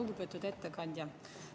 Lugupeetud ettekandja!